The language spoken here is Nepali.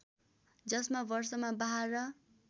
जसमा वर्षमा बाह्र